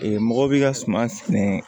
mɔgɔ bi ka suman sɛnɛ